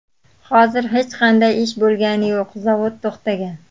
Hozir hech qanday ish bo‘lgani yo‘q, zavod to‘xtagan.